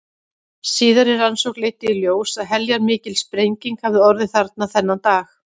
Síðari rannsókn leiddi í ljós að heljarmikil sprenging hafði orðið þarna þennan dag.